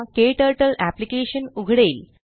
क्टर्टल application उघडेल